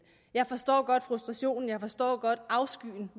jeg forstår godt frustrationen og jeg forstår godt afskyen